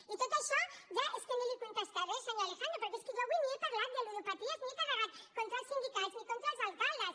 i tot això ja és que ni li ho contestaré senyor alejandro perquè és que jo avui ni he parlat de ludopaties ni he carregat contra els sindicats ni contra els alcaldes